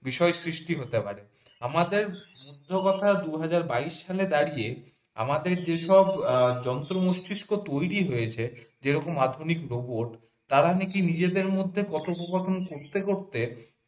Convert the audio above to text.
বিষয় সৃষ্টি হতে পারে আমাদের মূল কথা দুই হাজার বাইশ সাল দাড়িয়ে আমাদের যেসব যন্ত্র মস্তিষ্ক তৈরী হয়েছে যেরকম আধুনিক রোবট তারা নাকি নিজেদের মধ্যে কথোপকথন করতে করতে